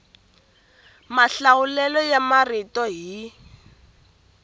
mahlawulelo ya marito hi